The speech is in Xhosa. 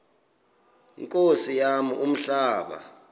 nkosi yam umhlaba